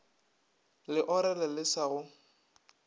le orele le sa go